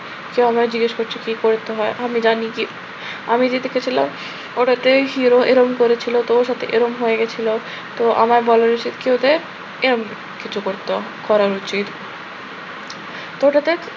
কেউ আমাকে জিজ্ঞেস করছে কি করতে হয়, আমি জানি কি আমি যে দেখেছিলাম ওটাতে hero এরম করেছিল, তো ওর সাথে এরকম হয়ে গেছিল। তো আমার বলা উচিত কি ওদের? যে এরকম কিছু করত করা উচিত। তো ওটাতে